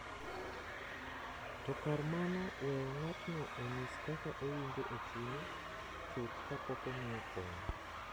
To kar mano, weyo ng’atno onyis kaka owinjo e chunye chuth kapok omiye kony.